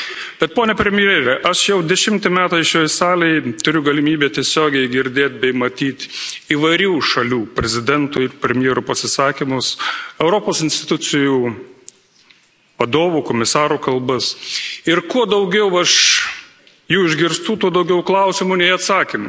Bet, pone premjere, aš jau dešimt metų šioje salėje turiu galimybę tiesiogiai girdėti bei matyti įvairių šalių prezidentų ir premjerų pasisakymus, Europos institucijų vadovų, Komisarų kalbas ir kuo daugiau aš jų išgirstu, tuo daugiau klausimų nei atsakymų.